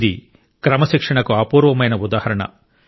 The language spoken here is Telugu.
ఇది క్రమశిక్షణకు అపూర్వమైన ఉదాహరణ